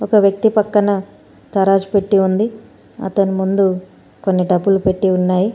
ఒక వ్యక్తి పక్కన తరాజు పెట్టి ఉంది అతని ముందు కొన్ని డబ్బులు పెట్టి ఉన్నాయి.